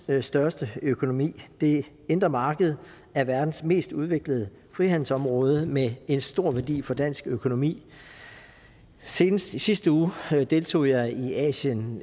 største økonomi det indre marked er verdens mest udviklede frihandelsområde med en stor værdi for dansk økonomi senest i sidste uge deltog jeg i asien